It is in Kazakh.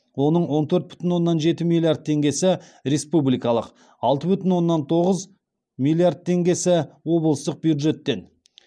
оның он төрт бүтін оннан жеті миллиард теңгесі республикалық алты бүтін оннан тоғыз миллиард теңгесі облыстық бюджеттен